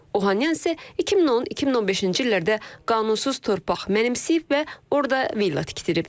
Ohanyan isə 2010-2015-ci illərdə qanunsuz torpaq mənimsəyib və orada villa tikdirib.